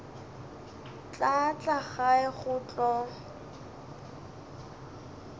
tla tla gae go tlo